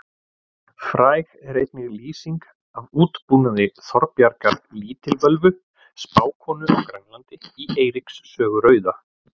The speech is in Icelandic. Fræg er einnig lýsing af útbúnaði Þorbjargar lítilvölvu spákonu á Grænlandi í Eiríks sögu rauða.